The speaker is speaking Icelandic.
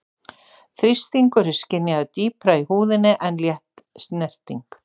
Þrýstingur er skynjaður dýpra í húðinni en létt snerting.